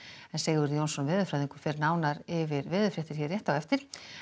Sigurður Jónsson veðurfræðingur fer nánar yfir þetta hér rétt á eftir